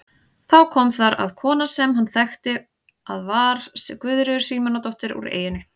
Þá kom þar að kona sem hann þekkti að var Guðríður Símonardóttir úr eyjunni.